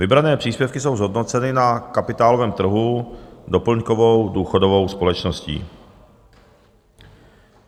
Vybrané příspěvky jsou zhodnoceny na kapitálovém trhu doplňkovou důchodovou společností.